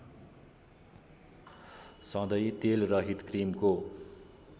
सधैँ तेलरहित क्रिमको